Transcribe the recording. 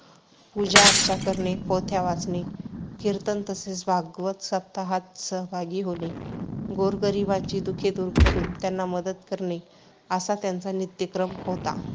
पूजाअर्चा करणे, पोथ्या वाचणे, कीर्तन तसेच भागवत सप्ताहात सहभागी होणे, गोरगरिबांची दुःखे दूर करून त्यांना मदत करणे, असा त्यांचा नित्यक्रम होता.